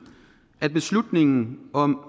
at beslutningen om